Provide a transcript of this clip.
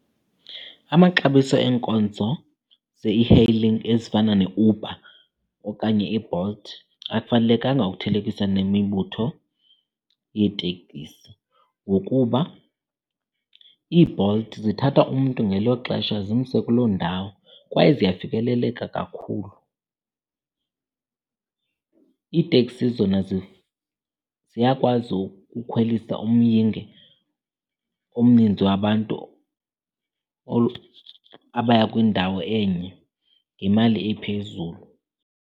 Amaxabiso eenkonzo ze-e-hailing ezifana neUber okanye iBolt akufanelekanga ukuthelekisa nemibutho yeetekisi, ngokuba iiBolt zithatha umntu ngelo xesha zimse kuloo ndawo kwaye ziyafikeleleka kakhulu. Iiteksi zona ziyakwazi ukukhwelisa umyinge omninzi wabantu abaya kwindawo enye ngemali ephezulu.